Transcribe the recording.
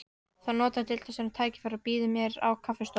Þá notar deildarstjóri tækifærið og býður mér á kaffistofu